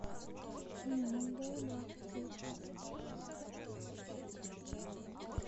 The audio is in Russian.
неангелы двадцать девятнадцать